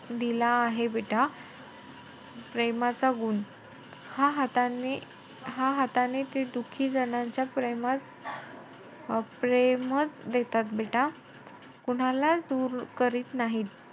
दिला आहे बेटा प्रेमाचा गुण. हा हाताने~ हा हाताने ते दुखी जणांच्या प्रेमात~ अं प्रेमचं देतात बेटा. कोणालाचं दूर करत नाही.